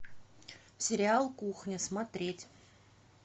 сериал кухня смотреть